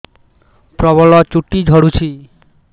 ପ୍ରବଳ ଚୁଟି ଝଡୁଛି